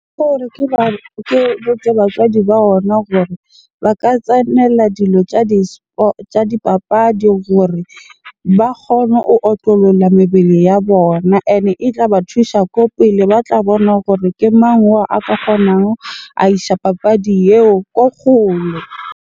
Ke botse batswadi ba ona gore ba ka tsenela dilo tsa di tsa dipapadi gore ba kgone o otlolola mebele ya bona. Ene e tlaba thusa ko pele, ba tla bona gore ke mang oo a ka kgonang, a isha papadi eo ko gole.